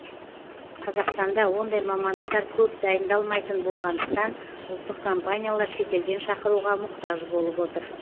қазақстанда ондай мамандықтар көп дайындалмайтын болғандықтан ұлттық компаниялар шетелден шақыруға мұқтаж болып отыр